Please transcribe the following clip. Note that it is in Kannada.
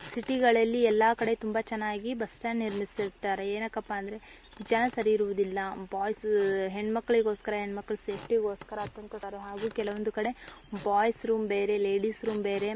ಸಿಟಿ ಗಳಲ್ಲಿ ಎಲ್ಲಾ ಕಡೆ ತುಂಬಾ ಚೆನ್ನಾಗಿ ಬಸ್ಟ್ಯಾಂಡ್ ನಿರ್ಮಿಸಿರುತ್ತಾರೆ. ಏನಕಪ್ಪ ಅಂದ್ರೆ ಜನ ಸರಿ ಇರುವುದಿಲ್ಲ ಬಾಯ್ಸ್ ಹೆಣ್ಮಕ್ಳಿಗೋಸ್ಕರ ಹೆಣ್ಮಕ್ಳು ಸೇಫ್ಟಿ ಗೋಸ್ಕರ ಅತ್ಯಂತ ಸುಂದರವಾಗಿ ನಿರ್ಮಿಸಿರುತ್ತಾರೆ. ಹಾಗೂ ಕೆಲವೊಂದು ಕಡೆ ಬಾಯ್ಸ್ ರೂಮ್ ಬೇರೆ ಲೇಡೀಸ್ ರೂಮ್ ಬೇರೆ--